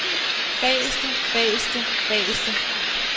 bageste bageste bageste